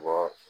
Bɔ